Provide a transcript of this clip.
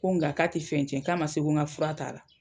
Ko nka k'a te fɛn tiɲɛ, k'a ma se ko ŋa fura t'a la.